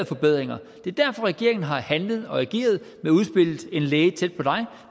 forbedringer det er derfor at regeringen har handlet og ageret med udspillet en læge tæt på dig